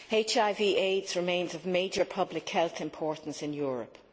HIV AIDS remains of major public health importance in Europe.